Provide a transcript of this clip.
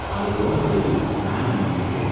அது போனபிறகு நான் இதில் இருக்கிறேன்.